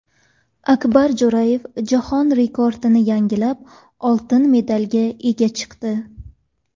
Akbar Jo‘rayev jahon rekordini yangilab, oltin medalga ega chiqdi.